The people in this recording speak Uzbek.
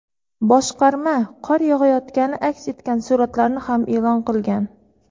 Boshqarma qor yog‘ayotgani aks etgan suratlarni ham e’lon qilgan.